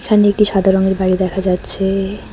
এখানে এটি সাদা রঙের বাড়ি দেখা যাচ্ছেএ।